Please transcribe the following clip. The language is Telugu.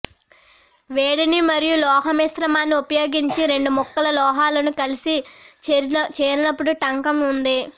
వేడిని మరియు లోహ మిశ్రమాన్ని ఉపయోగించి రెండు ముక్కల లోహాలను కలిసి చేరినప్పుడు టంకం ఉంది